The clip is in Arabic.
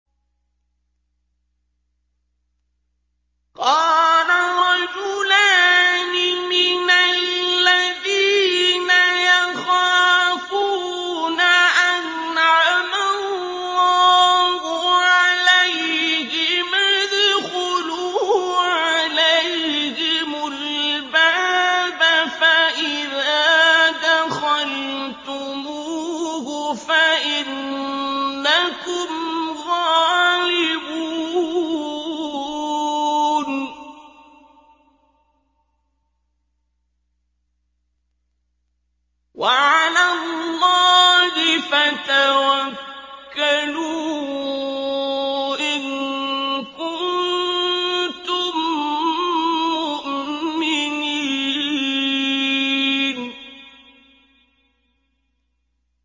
قَالَ رَجُلَانِ مِنَ الَّذِينَ يَخَافُونَ أَنْعَمَ اللَّهُ عَلَيْهِمَا ادْخُلُوا عَلَيْهِمُ الْبَابَ فَإِذَا دَخَلْتُمُوهُ فَإِنَّكُمْ غَالِبُونَ ۚ وَعَلَى اللَّهِ فَتَوَكَّلُوا إِن كُنتُم مُّؤْمِنِينَ